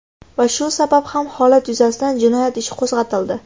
Va shu sabab ham holat yuzasidan jinoyat ishi qo‘zg‘atildi.